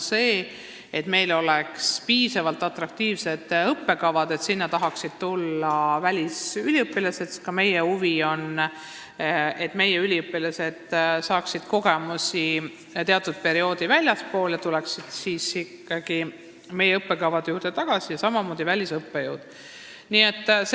See, et meil oleksid piisavalt atraktiivsed õppekavad, et meile tahaksid tulla välisüliõpilased, sest ka meie huvi on, et meie üliõpilased saaksid teatud perioodil kogemusi väljastpoolt Eestit ja tuleksid siis ikkagi meile tagasi, samamoodi käib see välisõppejõudude kohta.